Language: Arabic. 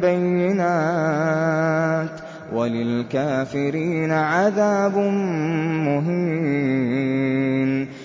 بَيِّنَاتٍ ۚ وَلِلْكَافِرِينَ عَذَابٌ مُّهِينٌ